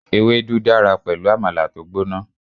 Ewédú dára pẹ̀lú Àmàlà tó gbóná.